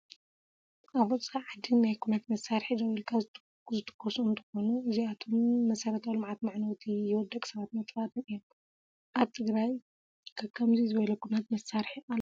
ኣብ ወፃኢ ዓዲ ናይ ኩናት መሳሪሒ ደው ኢልካ ዝትኮኑ እንትኮኑ እዚኣቶብ መሰረታዊ ልምዓት መዕነውትን ሂው ደቂ ሰባት መጥፋእትን እዩም። ኣብ ትግራይ ከ ከምዙይ ዝበለ ኩናት መሳርሒ ኣሎ ድዩ ?